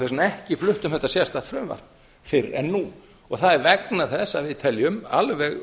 vegna ekki flutt um þetta sérstakt frumvarp fyrr en nú það er vegna þess að við teljum alveg